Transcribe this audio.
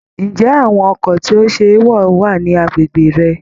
Ǹjẹ́ àwọn ọkọ̀ tí ó ṣe é wọ̀ wà ní agbègbè rẹ?